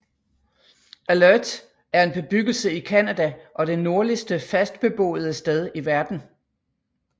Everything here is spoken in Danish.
Alert er en bebyggelse i Canada og det nordligste fast beboede sted i verden